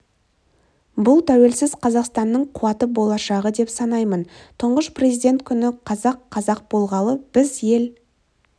бұл тәуелсіз қазақстанның қуаты болашағы деп санаймын тұңғыш президент күні қазақ қазақ болғалы біз ел